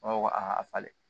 falen